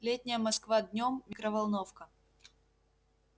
летняя москва днём микроволновка